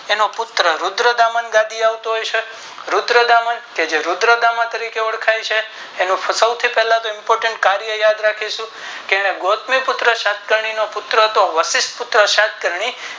તેનો પુત્ર રુદ્રતામણ ગાદી એ આવતો હશે રુદ્રતામન કે જે રુદ્રતામન તારીખે ઓળખાતો હશે તેનો સૌ થી પહેલાતો Imponet કાર્ય યાદ રાખીશું કે એને ગૌતમી પુત્ર સતકની નો પુત્ર તો વશિષ્ટ પ્રશત ગણી